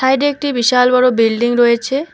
Side -এ একটি বিশাল বড় বিল্ডিং রয়েছে।